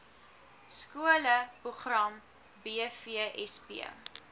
skole program bvsp